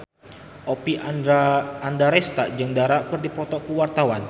Oppie Andaresta jeung Dara keur dipoto ku wartawan